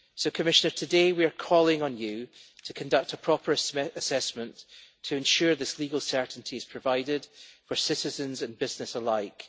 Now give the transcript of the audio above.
Commissioner, today we are calling on you to conduct a proper assessment to ensure this legal certainty is provided for citizens and business alike.